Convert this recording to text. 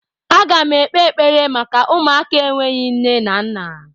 Agam ekpe ekpere maka ụmụaka enweghị nne na nna!